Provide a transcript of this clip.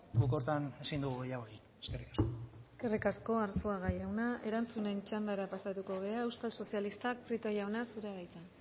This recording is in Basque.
guk horretan ezin dugu gehiago egin eskerrik asko eskerrik asko arzuaga jauna erantzunen txandara pasatuko gara euskal sozialistak prieto jauna zurea da hitza